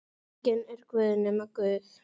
Enginn er guð nema Guð.